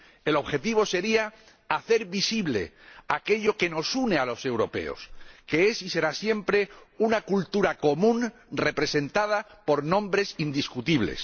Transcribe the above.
El objetivo sería hacer visible aquello que nos une a los europeos, que es y será siempre una cultura común representada por nombres indiscutibles.